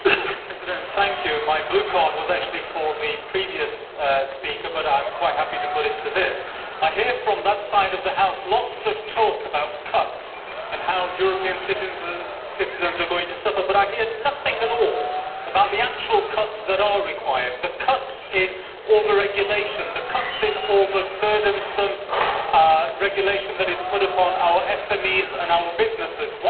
Mr President, my blue card was actually for the previous speaker, but I am quite happy to put it to this one. I hear from that side of the House lots of talk about cuts and about how European citizens are going to suffer, but I hear nothing at all about the actual cuts that are required the cuts in over regulation and the cuts in the over burdensome regulation that is imposed on our SMEs and our businesses.